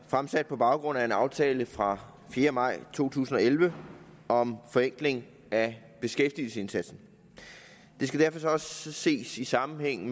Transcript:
fremsat på baggrund af en aftale fra den fjerde maj to tusind og elleve om forenkling af beskæftigelsesindsatsen det skal derfor også ses i sammenhæng